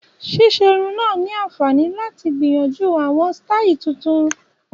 Ṣíṣe irun náà ni àǹfààní láti gbìyànjú àwọn sítáì tuntun